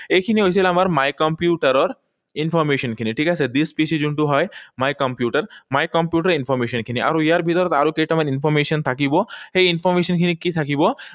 এইখিনি হৈছিল আমাৰ my computer ৰ information খিনি, ঠিক আছে? This PC যোনটো হয়, my computer. My computer information খিনি। আৰু ইয়াৰ ভিতৰত আৰু কেইটামান information থাকিব। সেই information খিনি কি থাকিব?